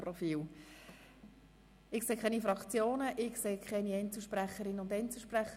Es melden sich keine Fraktions- oder Einzelsprecherinnen und -sprecher.